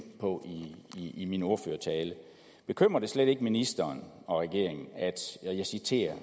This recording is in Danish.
på i min ordførertale bekymrer det slet ikke ministeren og regeringen at og jeg citerer